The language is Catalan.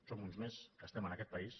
som uns més que estem en aquest país